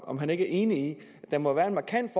om han ikke er enig i at der må være en markant